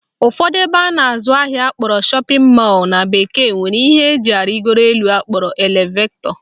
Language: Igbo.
Ụfọdụ ebe a na-azụ ahịa akpọrọ shopping mall na bekee nwere ihe eji arịgo elu akpọrọ elevetọ